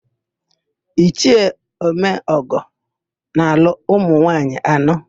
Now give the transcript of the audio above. Ichie Omeọgọ na-alụ ụmụnwaanyị anọ.